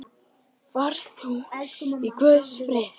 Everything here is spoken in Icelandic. Far þú í Guðs friði.